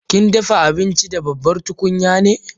Kin dafa abinci da babbar tukunya ne?